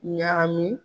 Ɲagami